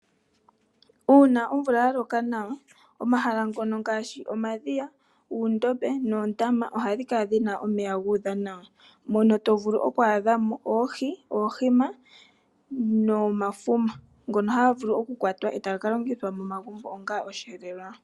Uuna omvula ya loka nawa omahala ngono ngaashi omadhiya, uundombe nuundama ohadhi kala dhina omeya dhuudha nawa mono tovulu oku adhamo oohi, oohima nomafuma ngono haga vulu okukwatwa e taga ka longithwa momagumbo onga osheelelwa.